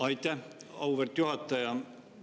Aitäh, auväärt juhataja!